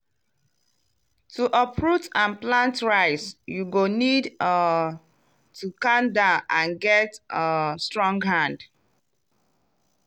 to uproot and plant rice you go need um to calm down and get um strong hand.